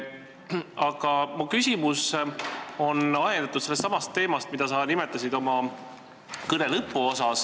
Aga mu küsimus on ajendatud teemast, mida sa märkisid oma kõne lõpuosas.